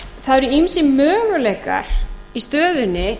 þannig að það eru ýmsir möguleikar í stöðunni